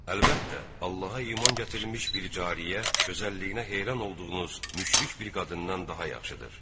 Əlbəttə, Allaha iman gətirmiş bir cariyə, gözəlliyinə heyran olduğunuz müşrik bir qadından daha yaxşıdır.